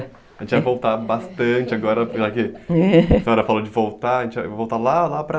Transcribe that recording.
A gente vai voltar bastante agora, porque a senhora falou de voltar, a gente vai voltar lá, lá para...